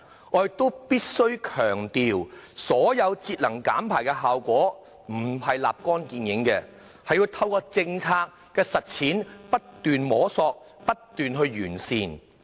我亦必須強調，節能減排的效果並非立竿見影，而是要透過政策的實踐，不斷摸索和完善。